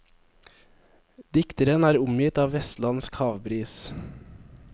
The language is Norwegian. Dikteren er omgitt av vestlandsk havbris.